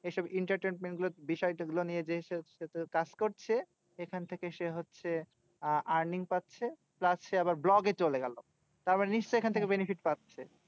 এইসব entertainment গুলো বিষয়গুলো নিয়ে কাজ করছে। এখান থেকে সে হচ্ছে earn earning পাচ্ছে plus সে আবার vlog এ চলে গেলো। তারমানে নিশ্চই এখন থেকে benefit পাচ্ছে।